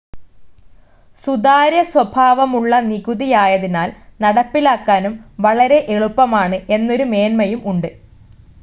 സുതാര്യ സ്വഭാവമുള്ള നികുതിയായതിനാൽ നടപ്പിലാക്കാനും വളരെ എളുപ്പമാണ് എന്നൊരു മേന്മയും ഉണ്ട്.